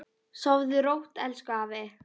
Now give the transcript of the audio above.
Sofðu rótt, elsku afi.